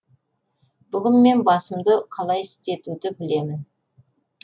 бүгін мен басымды қалай істетуді білемін